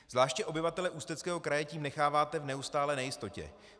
Zvláště obyvatele Ústeckého kraje tím necháváte v neustálé nejistotě.